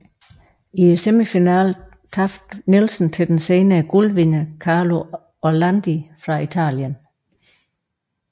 I semifinalen tabte Nielsen til den senere guldvinder Carlo Orlandi fra Italien